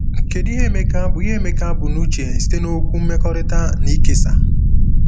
Kedu ihe Emeka bu ihe Emeka bu n’uche site na okwu “mmekorita” na “ikesa”?